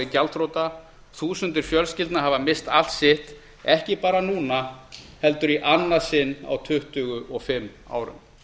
gjaldþrota og þúsundir fjölskyldna misst allt sitt ekki bara núna heldur í annað sinn á tuttugu og fimm árum